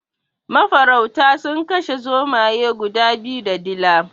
Mafarauta sun kashe zomaye guda biyu da dila.